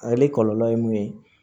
Ale kɔlɔlɔ ye mun ye